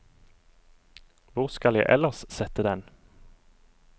Hvor skal jeg ellers sette den?